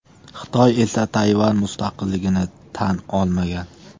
Xitoy esa Tayvan mustaqilligini tan olmagan.